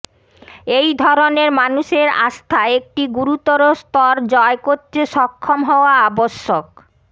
এই ধরনের মানুষের আস্থা একটি গুরুতর স্তর জয় করতে সক্ষম হওয়া আবশ্যক